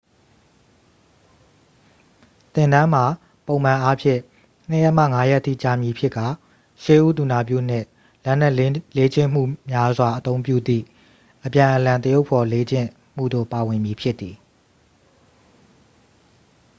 သင်တန်းမှာ ပုံမှန်အားဖြင့် 2 ရက်မှ 5 ရက်ထိ ကြာမည်ဖြစ်ကာ ရှေးဦးသူနာပြုနှင့် လက်နက်လေ့ကျင့်မှုများစွာ အသုံးပြုသည့် အပြန်အလှန်သရုပ်ဖော်လေ့ကျင့်မှုတို့ ပါဝင်မည် ဖြစ်သည်